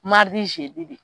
de